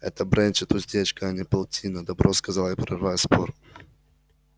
это бренчит уздечка а не полтина добро сказал я прерывая спор